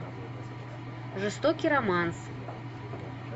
жестокий романс